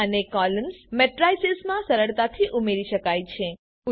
row અને columns મેટ્રિસેસમાં સરળતાથી ઉમેરી શકાય છે